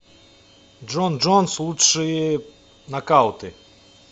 джон джонс лучшие нокауты